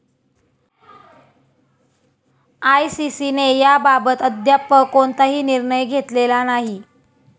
आयसीसीने याबाबत अद्याप कोणताही निर्णय घेतलेला नाही.